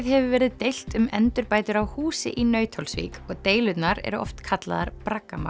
hefur verið deilt um endurbætur á húsi í Nauthólsvík og deilurnar oft kallaðar